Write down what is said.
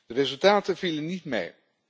De resultaten vielen niet mee.